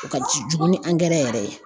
O ka ju jugu ni angɛrɛ yɛrɛ ye